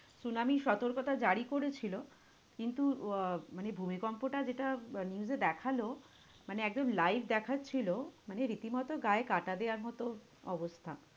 Tsunami র সতর্কতা জারি করেছিল, কিন্তু আহ মানে ভূমিকম্পটা যেটা আহ news এ দেখালো, মানে একদম live দেখাচ্ছিল, মানে রীতিমতো গায়ে কাঁটা দেওয়ার মতো অবস্থা।